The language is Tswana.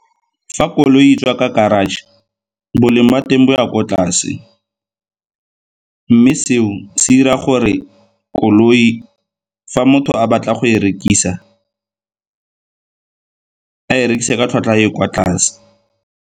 Fa koloi e tswa ka garage, boleng ba teng bo ya kwa tlase. Mme seo se dira gore koloi fa motho a batla go e rekisa a e rekisiwe ka tlhwatlhwa e e kwa tlase.